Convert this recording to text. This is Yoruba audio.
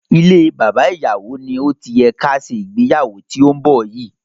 Ilée Baba Ìyàwó ni ó ti yẹ ká ṣe ìgbéyàwó tí ó ń bọ̀ yìí.